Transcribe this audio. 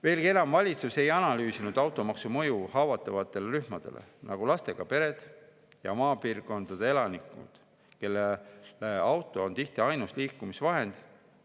Veelgi enam, valitsus ei analüüsinud automaksu mõju haavatavatele rühmadele, nagu lastega pered ja maapiirkondade elanikud, kellele auto on tihti ainus liikumisvahend.